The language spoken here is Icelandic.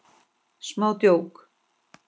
Smá djók.